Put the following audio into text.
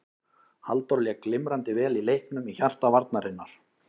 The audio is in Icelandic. Halldór lék glimrandi vel í leiknum í hjarta varnarinnar.